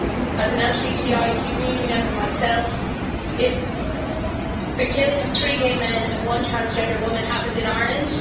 As an LGBTIQ community member myself, if the killing of three gay men and one transgender woman happened in Ireland?